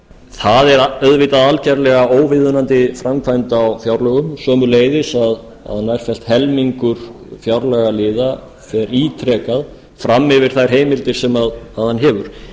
það er auðvitað alveg óviðunandi framkvæmd á fjárlögum sömuleiðis að nærfellt helmingur fjárlagaliða fer ítrekað fram yfir þær heimildir sem hann hefur vegna þess að slíkt